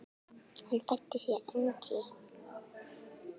Hann fæddist í Engey.